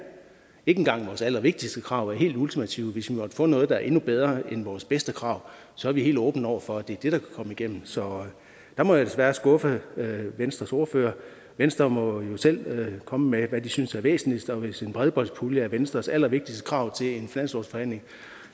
ikke engang vores allervigtigste krav er helt ultimative hvis vi måtte få noget der er endnu bedre end vores bedste krav så er vi helt åbne over for at det er det der kan komme igennem så der må jeg desværre skuffe venstres ordfører venstre må jo selv komme med hvad de synes er væsentligst og hvis en bredbåndspulje er venstres allervigtigste krav til en finanslovsforhandling